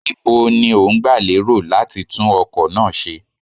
Níbo ni ó ń gba lérò láti tún ọkọ̀ náà ṣe?